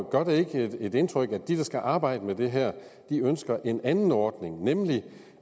gør det ikke indtryk at de der skal arbejde med det her ønsker en anden ordning nemlig